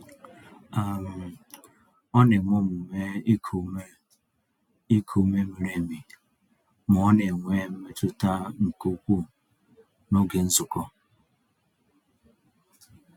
um Ọ na-eme omume iku ume iku ume miri emi ma ọ n'enwe mmetụta nke ukwuu n'oge nzukọ.